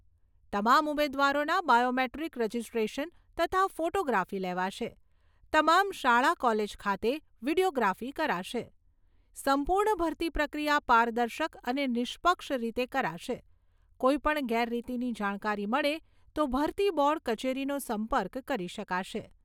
તમામ ઉમેદવારોના biometric registration તથા ફોટોગ્રાફી લેવાશે. તમામ શાળા કોલેજ ખાતે વિડિયોગ્રાફી કરાશે. સંપૂર્ણ ભરતી પ્રક્રિયા પારદર્શક અને નિષ્પક્ષ રીતે કરાશે. કોઈપણ ગેરરીતીની જાણકારી મળે તો ભરતી બોર્ડ કચેરીનો સંપર્ક કરી શકાશે.